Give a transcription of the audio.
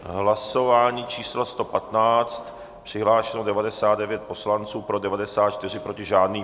Hlasování číslo 115, přihlášeno 99 poslanců, pro 94, proti žádný.